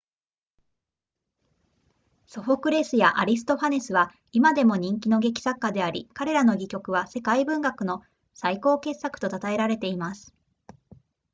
ソフォクレスやアリストファネスは今でも人気の劇作家であり彼らの戯曲は世界文学の最高傑作と称えられています